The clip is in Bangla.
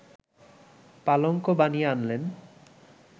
পালঙ্ক বানিয়ে আনলেন